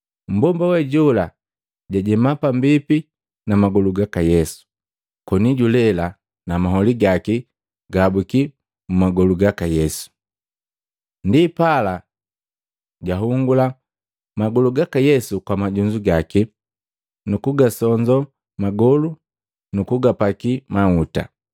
Mmbomba we jola jajema pambipi na magolu gaka Yesu, koni julela na maholi gaki gahabukya mmagolu gaka Yesu. Ndipala jagahungula magolu gaka Yesu kwa majunzu gaki, nukugasonzoo magolu nu kugapakia mahuta.